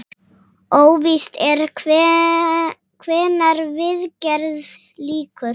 Óvíst er hvenær viðgerð lýkur.